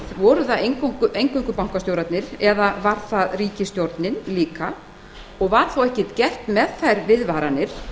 voru það eingöngu bankastjórarnir eða var það ríkisstjórnin líka það er svo að sjálfsögðu umhugsunarefni